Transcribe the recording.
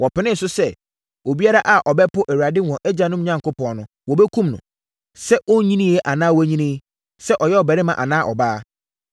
Wɔpenee so sɛ, obiara a ɔbɛpo Awurade, wɔn agyanom Onyankopɔn no, wɔbɛkum no, sɛ ɔnnyiniiɛ anaa wanyini, sɛ ɔyɛ ɔbarima anaa ɔbaa.